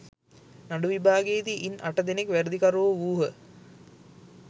නඩු විභාගයේදී ඉන් අට දෙනෙක් වැරදිකරුවෝ වූහ.